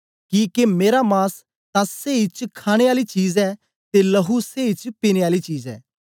किके मेरा मांस तां सेई च खाणे आली चीज ऐ ते लहू सेई च पीने आली चीज ऐ